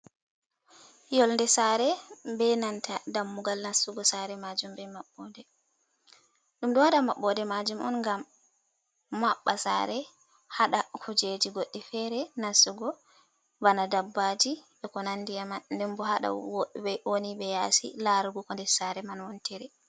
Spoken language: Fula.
Yolde saare be nanta dammugal nastugo saare maajum, be maɓɓode. Ɗum ɗo waɗa maɓɓode maajum on ngam maɓɓa saare haɗa kujeji goɗɗi fere nastugo, bana dabbaji, e ko nandi eman, nden bo haɗa woni ɓe yaasi laarugo ko nder saare man wontiri.